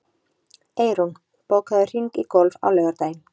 Eyrún, bókaðu hring í golf á laugardaginn.